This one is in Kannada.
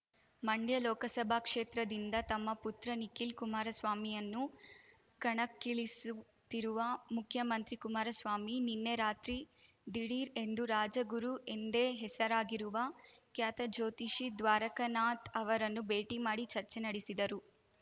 ಮಂಡ್ಯ ಲೋಕಸಭಾ ಕ್ಷೇತ್ರದಿಂದ ತಮ್ಮ ಪುತ್ರ ನಿಖಿಲ್ ಕುಮಾರಸ್ವಾಮಿಯನ್ನು ಕಣಕ್ಕಿಳಿಸುತ್ತಿರುವ ಮುಖ್ಯಮಂತ್ರಿ ಕುಮಾರಸ್ವಾಮಿ ನಿನ್ನೆ ರಾತ್ರಿ ದಿಢೀರ್ ಎಂದು ರಾಜಗುರು ಎಂದೇ ಹೆಸರಾಗಿರುವ ಖ್ಯಾತ ಜ್ಯೋತಿಷಿ ದ್ವಾರಕನಾಥ್ ಅವರನ್ನು ಭೇಟಿ ಮಾಡಿ ಚರ್ಚೆ ನಡೆಸಿದರು